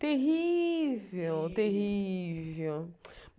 Terrível, terrível.